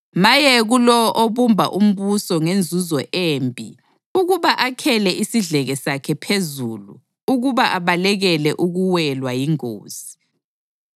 Maye kulowo obumba umbuso ngenzuzo embi ukuba akhele isidleke sakhe phezulu ukuba abalekele ukuwelwa yingozi!